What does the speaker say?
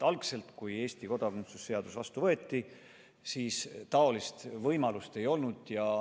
Algselt, kui meil kodakondsuse seadus vastu võeti, sellist võimalust ei olnud.